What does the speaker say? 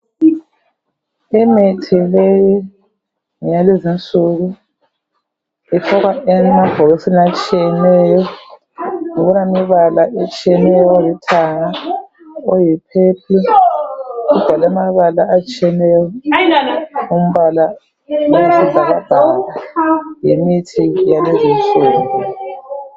Imithi leyi ngeyalezinsuku, ifakwa emabhokisini atshiyeneyo kulemibala etshiyeneyo olithanga , oyipurple kubhalwe amabala atshiyeneyo ombala oyisibhakabhaka. Yimithi yalezinsuku.